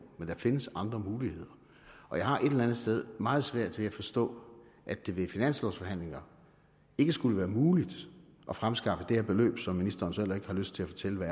men der findes andre muligheder jeg har et eller andet sted meget svært ved at forstå at det ved finanslovforhandlingerne ikke skulle være muligt at fremskaffe det her beløb som ministeren så heller ikke har lyst til at fortælle hvad